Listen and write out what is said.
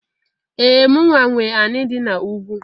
Ee! Mụnwa nwe anị dị n'ugwu.